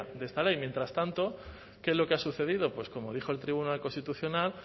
de esta ley y mientras tanto qué es lo que ha sucedido pues como dijo el tribunal constitucional